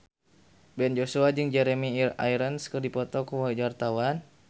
Ben Joshua jeung Jeremy Irons keur dipoto ku wartawan